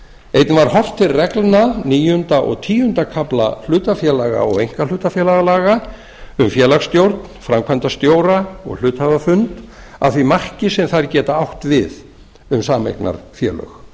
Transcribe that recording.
einnig var horft til reglna níunda og tíunda kafla hlutafélaga og einkahlutafélagalaga um félagsstjórn framkvæmdastjóra og hluthafafund að því marki sem þær geta átt við um sameignarfélög